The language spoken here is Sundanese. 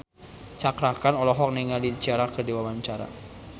Cakra Khan olohok ningali Ciara keur diwawancara